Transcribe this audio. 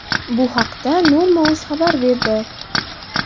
Bu haqda norma.uz xabar berdi .